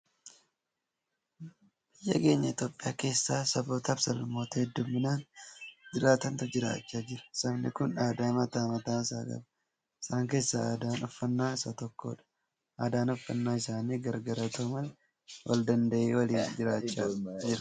Biyya keenya Itoophiyaa keessa saboota fi sablammoota hedduminaan jiraatantu jiraachaa jira. sabni kun aadaa mataa mataa isaa qaba ,isaan keessaa aadaan uffannaa isa tokkodha. Aadaan uffannaa isaanii gargar haata'u malee waldanda'ee waliin jiraachaa jira.